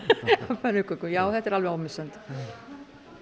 pönnukökum já þetta er alveg ómissandi og